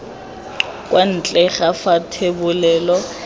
kwa ntle ga fa thebolelo